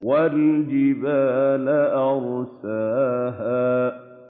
وَالْجِبَالَ أَرْسَاهَا